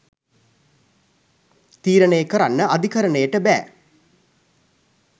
තීරණය කරන්න අධිකරණයට බෑ.